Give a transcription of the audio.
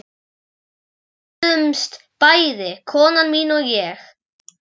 Við glöddumst bæði, kona mín og ég